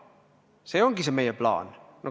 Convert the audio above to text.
See ongi meie plaan.